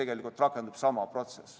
Ka siis rakendub sama protsess.